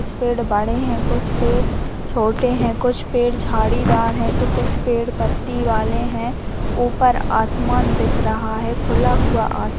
कुछ पेड़ बड़े है कुछ पेड़ छोटे है कुछ पेड़ झड़ी दार है कुछ पेड़ पति वाले है उयपर आसमान दिख रहा है खुला हुआ आसमान--